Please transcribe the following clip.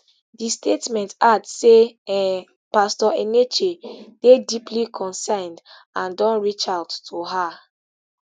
di statement add say um pastor enenche dey deeply concerned and don reach out to her